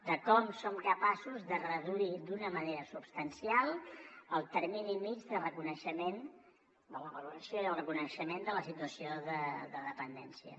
de com som capaços de reduir d’una manera substancial el termini mitjà de reconeixement de la valoració i el reconeixement de la situació de dependència